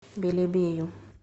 белебею